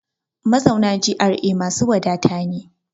Mazauna GRA masu wadata ne.